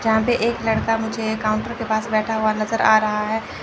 जहां पे एक लड़का मुझे एक काउंटर के पास बैठा हुआ नजर आ रहा है।